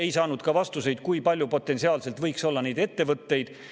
Ei saanud ka vastuseid, kui palju potentsiaalselt võiks olla neid ettevõtteid.